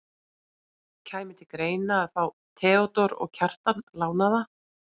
Kæmi til greina að fá Theodór og Kjartan lánaða?